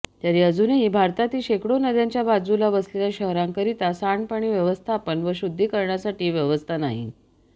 तरी अजूनही भारतातील शेकडो नद्यांच्या बाजूला वसलेल्या शहरांकरिता सांडपाणी व्यवस्थापन व शुद्धीकरणासाठी व्यवस्था नाही